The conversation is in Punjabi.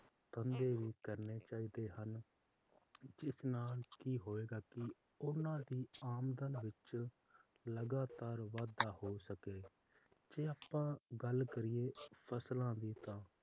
ਧੰਦੇ ਵੀ ਕਰਨੇ ਚਾਹੀਦੇ ਹਨ ਜਿਸ ਨਾਲ ਕਿ ਹੋਏਗਾ ਕਿ ਓਹਨਾ ਦੀ ਆਮਦਨ ਵਿੱਚ ਲਗਾਤਾਰ ਵਾਧਾ ਹੋ ਸਕੇ ਤੇ ਆਪਾਂ ਗੱਲ ਕਰੀਏ ਫਸਲਾਂ ਦੀ ਤਾਂ